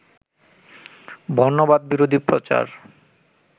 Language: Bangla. বর্ণবাদবিরোধী প্রচার